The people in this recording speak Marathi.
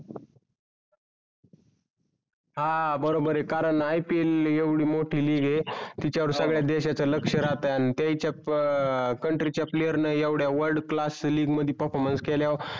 हा बरोबर आहे कारण IPL येवडी मोठी league आहे तिच्या वर संगड्या देशाच्या लक्ष राहतात आणि त्याच्या पण country player येवडया world class league मधी performance केल्या वर